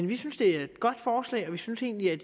vi synes det er et godt forslag og vi synes egentlig at